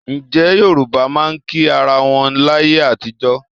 Ǹjẹ́ Yorùbá máa ń kí ara wọn láyé àtijọ́?